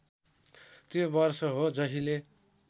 त्यो वर्ष हो जहिले